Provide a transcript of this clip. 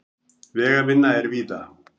Vegavinna er víða